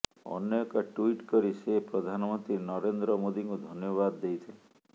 ଅନ୍ୟ ଏକ ଟ୍ବିଟ୍ କରି ସେ ପ୍ରଧାନମନ୍ତ୍ରୀ ନରେନ୍ଦ୍ର ମୋଦୀଙ୍କୁ ଧନ୍ୟବାଦ ଦେଇଥିଲେ